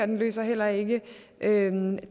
den løser heller ikke